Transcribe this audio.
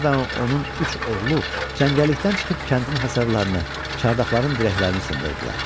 Xatqi və onun üç oğlu cəngəllikdən çıxıb kəndin hasarlarını, çardaqların dirəklərini sındırdılar.